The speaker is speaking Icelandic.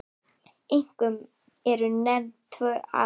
Einkum eru nefnd tvö atriði.